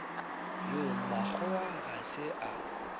yo mmakgowa ga se a